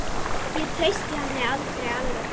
Ég treysti henni aldrei alveg.